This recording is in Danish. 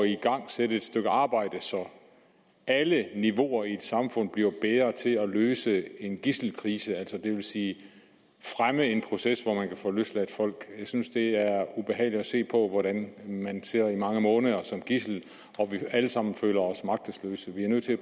igangsætte et stykke arbejde så alle niveauer i et samfund bliver bedre til at løse en gidselkrise det vil sige fremme en proces hvor man kan få løsladt folk jeg synes det er ubehageligt at se på hvordan nogle sidder i mange måneder som gidsler og at vi alle sammen føler os magtesløse vi er nødt til at